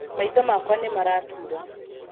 Maitho makwa nĩ maratura.